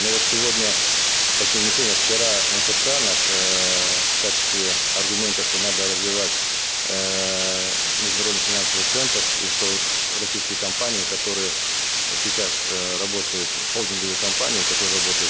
но вот сегодня точнее не сегодня а вчера мфца наш эээ в качестве аргумента что надо развивать эээ международный финансовый центр и что российские компании которые сейчас э работают холдинговые коспании которые работают